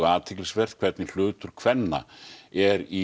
athyglisvert hvernig hlutur kvenna eru í